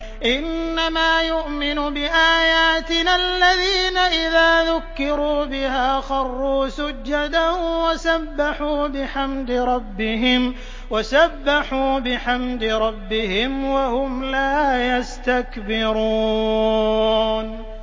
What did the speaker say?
إِنَّمَا يُؤْمِنُ بِآيَاتِنَا الَّذِينَ إِذَا ذُكِّرُوا بِهَا خَرُّوا سُجَّدًا وَسَبَّحُوا بِحَمْدِ رَبِّهِمْ وَهُمْ لَا يَسْتَكْبِرُونَ ۩